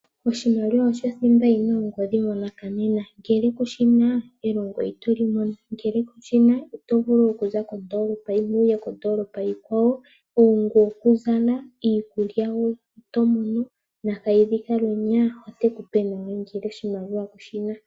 Oshimaliwa osho thimba yina ongodhi monakanena, ngele kushina elongo itoli mono, ngele kushina ito vulu okuza kondoolopa yimwe wuye kondoolopa onkwawo, iikutu kuzala, iikulya woo itomono, Nakayidhi Kaalwenya ote kupe nawa ngele oshimaliwa kushi na.